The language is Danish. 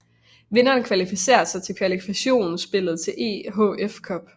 Vinderen kvalificerer sig kvalifkationsspillet til EHF Cup